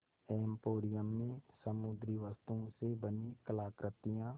emporium में समुद्री वस्तुओं से बनी कलाकृतियाँ